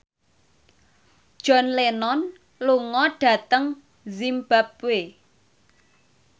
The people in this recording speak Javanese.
John Lennon lunga dhateng zimbabwe